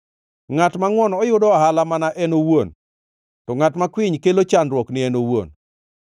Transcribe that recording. Ngʼat mangʼwon yudo ohala mana ne en owuon, to ngʼat makwiny kelo chandruok ni en owuon.